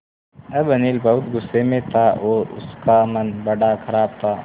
अब अनिल बहुत गु़स्से में था और उसका मन बड़ा ख़राब था